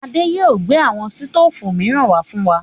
Adé yìí ó gbé àwọn sítoòfù miran wá fún wa.